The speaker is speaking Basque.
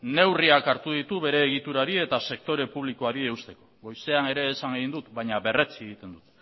neurriak hartu ditu bere egiturari eta sektore publikoari eusten goizean ere esan egin dut baina berretsi egiten dut